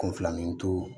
Kunfilanintu